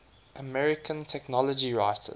american technology writers